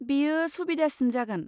बेयो सुबिदासिन जागोन।